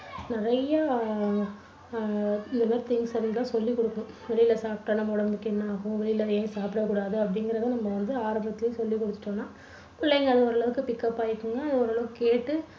நிறைய அஹ் இந்த மாதிரி things எல்லாம் சொல்லிக் கொடுக்கணும். வெளியில சாப்பிட்டா நம்ம உடம்புக்கு என்ன ஆகும் வெளியில ஏன் சாப்பிடக்கூடாது அப்படிங்கறது நம்ப வந்து ஆரம்பத்திலேயே சொல்லி கொடுத்துட்டோம்னா பிள்ளைங்க ஓரளவுக்கு pick up ஆகிக்குங்க. அது ஓரளவு கேட்டு